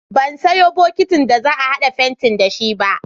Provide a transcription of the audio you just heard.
Ban sayo bokitin da za a haɗa fentin da shi ba.